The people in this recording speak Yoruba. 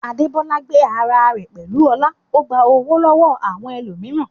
Adebola gbé ara rẹ̀ pẹ̀lú ọlá, ó gba ọ̀wọ̀ lọ́wọ́ àwọn ẹlòmíràn.